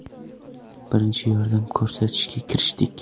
Birinchi yordam ko‘rsatishga kirishdik.